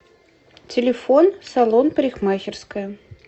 телефон салон парикмахерская